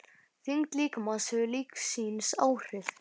Þyngd líkamans hefur líka sín áhrif.